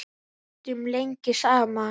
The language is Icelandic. Við ræddum lengi saman.